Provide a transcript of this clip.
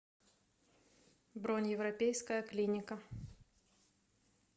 бронь европейская клиника